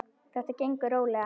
Þetta gengur rólega.